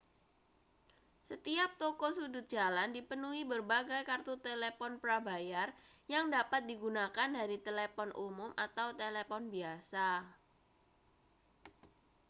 setiap toko sudut jalan dipenuhi berbagai kartu telepon prabayar yang dapat digunakan dari telepon umum atau telepon biasa